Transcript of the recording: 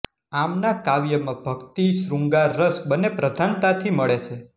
આમના કાવ્યમાં ભક્તિ શ્રૃગાંર રસ બનેં પ્રધાનતાથી મળે છે